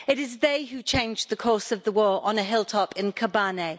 It is they who changed the course of the war on a hilltop in Kobani.